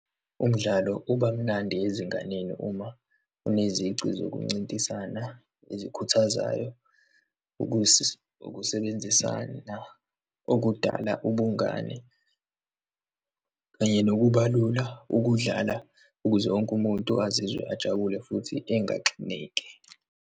Umdlalo ubamnandi ezinganeni uma enezici zokuncintisana ezikhuthazayo, ukusebenzisana okudala ubungani, kanye nokubalula ukuwudlala ukuze wonke umuntu azizwe ajabule futhi engaxineki.